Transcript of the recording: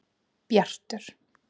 Bjartur